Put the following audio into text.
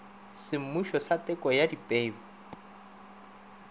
semmušo sa teko ya dipeu